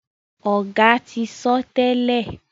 Oga tí sọ tèlé.